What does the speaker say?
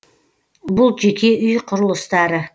бұл жеке үй құрылыстары